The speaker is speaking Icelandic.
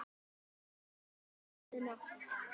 Hann blæs eftir ræðuna.